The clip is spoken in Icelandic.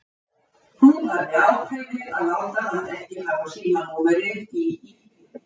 Hún hafði ákveðið að láta hann ekki hafa símanúmerið í íbúðinni.